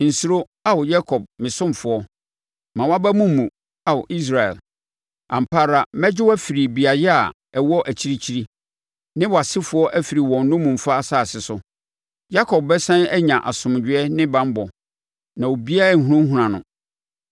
“Nsuro, Ao Yakob me ɔsomfoɔ; mma wʼaba mu mmu, Ao Israel. Ampa ara mɛgye wo afiri beaeɛ a ɛwɔ akyirikyiri, ne wʼasefoɔ afiri wɔn nnommumfa asase so. Yakob bɛsane anya asomdwoeɛ ne banbɔ, na obiara renhunahuna no.